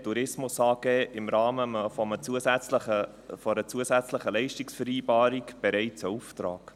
Tourismus AG im Rahmen einer zusätzlichen Leistungsvereinbarung bereits einen Auftrag.